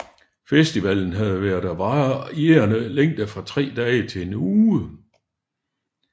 Festivalen har været af varierende længde fra tre dage til en uge